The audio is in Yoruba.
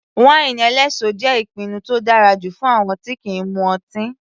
Wáínì eléso jẹ́ ìpinnu tó dára jù fún àwọn tí kìí mu ọtí.